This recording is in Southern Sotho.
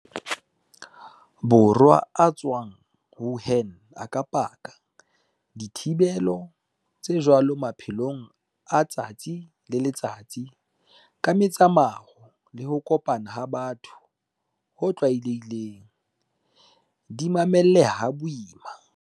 Borwa a tswang Wuhan a ka paka, dithibelo tse jwalo maphelong a letsatsi le letsatsi, ka metsamao le ho kopana ha batho ho tlwaelehileng, di mamelleha ha boima.